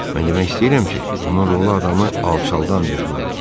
Mən demək istəyirəm ki, bunun rolu adamı alçaldan bir roldur.